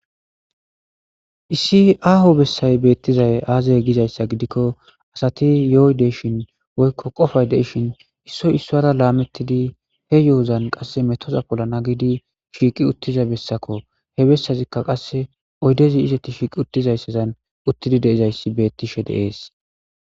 Issi aaho bessay beettizay aazay gizayssa gidikko asati yoydeshin woykko qofay deishin issoy issoara laamettidi he yo'ozan qasse metoza pollana gidi shiiqi uttiza bessako he bessazikka qasse oydezi izatti shiiqi uttizayssadan uttidi deizayssi beettishe deees.